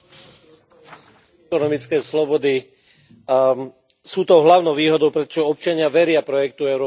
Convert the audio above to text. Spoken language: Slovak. ekonomické slobody sú tou hlavnou výhodou, pretože občania veria projektu európskej spolupráce.